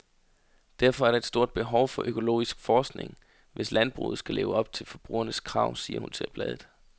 Derfor er der et stort behov for økologisk forskning, hvis landbruget skal leve op til forbrugernes krav, siger hun til bladet.